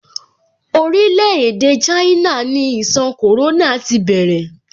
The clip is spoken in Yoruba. Orile-ede China ni ìṣàn corona ti bẹ̀rẹ̀.